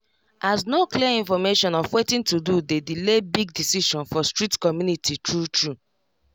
as no clear information of watin to do dey delay big decision for strict community true true